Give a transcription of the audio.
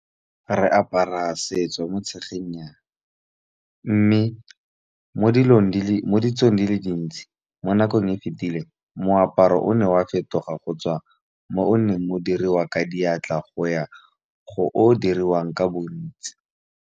Re apara setso mo tshegenyang. Mme mo ditsong di le dintsi mo nakong e fetileng moaparo o ne wa fetoga go tswa mo o neng o diriwa ka diatla go ya go o diriwang ka bontsi.